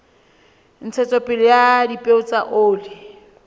ntshetsopele ya dipeo tsa oli